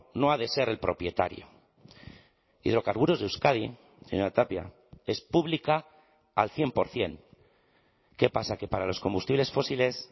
no ha de ser el propietario hidrocarburos de euskadi señora tapia es pública al cien por ciento qué pasa que para los combustibles fósiles